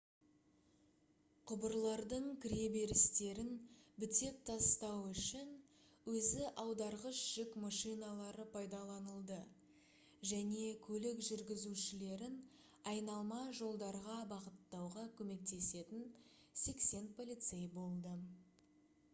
құбырлардың кіреберістерін бітеп тастау үшін өзі аударғыш жүк машиналары пайдаланылды және көлік жүргізушілерін айналма жолдарға бағыттауға көмектесетін 80 полицей болды